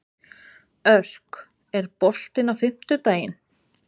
Örk, er bolti á fimmtudaginn?